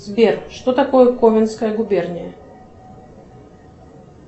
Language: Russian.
сбер что такое коменская губерния